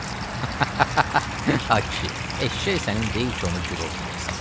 Ay kişi, eşşək sənin deyil ki, onu girov qoyasan.